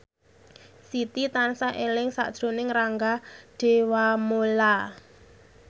Siti tansah eling sakjroning Rangga Dewamoela